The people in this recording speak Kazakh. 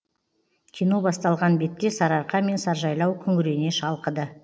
кино басталған бетте сары арқа мен саржайлау күңірене шалқыды